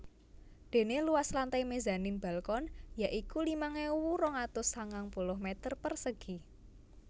Dene luas lantai mezanin balkon ya iku limang ewu rong atus sangang puluh meter persegi